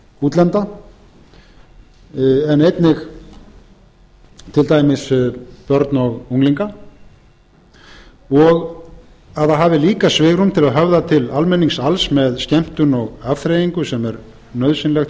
útlenda en einnig til dæmis börn og unglinga og það hafi líka svigrúm til að höfða til almennings alls með skemmtun og afþreyingu sem er nauðsynleg